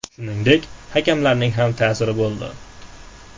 Shuningdek, hakamlarning ta’siri ham bo‘ldi.